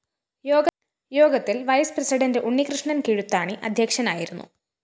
യോഗത്തില്‍ vice president Unnikrishnan‍ Kizhuthani അദ്ധ്യക്ഷനായിരുന്നു